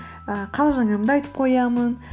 і қалжыңымды айтып қоямын